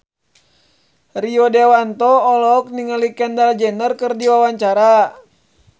Rio Dewanto olohok ningali Kendall Jenner keur diwawancara